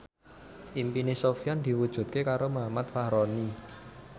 impine Sofyan diwujudke karo Muhammad Fachroni